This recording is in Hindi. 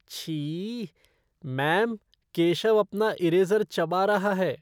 छी! मैम, केशव अपना इरेज़र चबा रहा है।